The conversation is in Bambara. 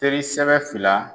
Teri sɛbɛ fila